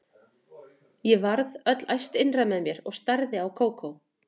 Ég varð öll æst innra með mér og starði á Kókó.